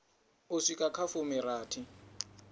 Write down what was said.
u swika kha a fumirathi